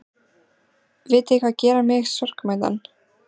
Vitiði hvað gerir mig sorgmæddan?